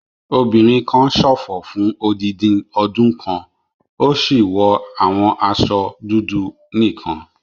Obìnrin kan ṣòfò fún odindi ọdún kan, ó sì wọ àwọn aṣọ dúdú nìkan.